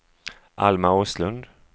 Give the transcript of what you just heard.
Alma Åslund